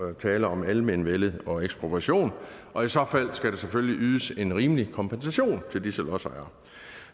er tale om almenvellet og ekspropriation og i så fald skal der selvfølgelig ydes en rimelig kompensation til disse lodsejere